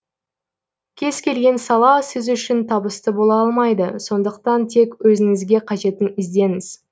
кез келген сала сіз үшін табысты бола алмайды сондықтан тек өзіңізге қажетін іздеңіз